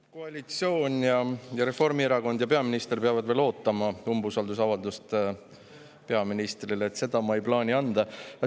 Koalitsioon, Reformierakond ja peaminister peavad veel ootama umbusaldusavalduse üleandmist peaministrile, seda ma ei plaani.